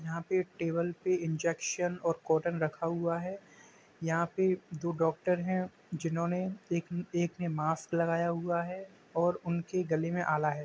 यहाँ पे टेबल पे इंजेक्शन और कॉटन रखा हुआ है। यहाँ पे दो डॉक्टर हैं। जिन्होंने एक ने एक ने मास्क लगाया हुआ है और उनके गले में आला है।